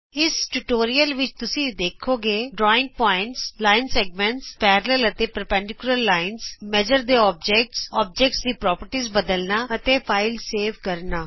ਇਸ ਟਯੂਟੋਰਿਅਲ ਵਿਚ ਤੁਸੀਂ ਦੇਖੋਗੇ ਬਿੰਦੂ ਰੇਖਾ ਖੰਡ ਸਮਾਂਤਰ ਅਤੇ ਲੰਬਕਾਰੀ ਰੇਖਾ ਨਾਪਣ ਦੀਆਂ ਚੀਜਾਂ ਚੀਜਾਂ ਦੇ ਗੁਣ ਬਦਲਨਾ ਅਤੇ ਫਾਈਲ ਸੇਵ ਕਰਨਾ